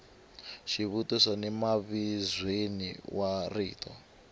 xivutiso ni mavizweni wa rito